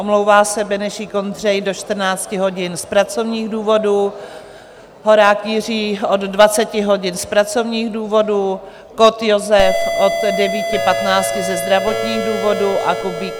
Omlouvá se Benešík Ondřej do 14 hodin z pracovních důvodů, Horák Jiří od 20 hodin z pracovních důvodů, Kott Josef od 9.15 ze zdravotních důvodů a Kubík